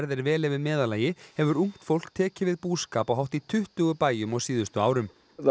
er vel yfir meðallagi hefur ungt fólk tekið við búskap á hátt í tuttugu bæjum á síðustu árum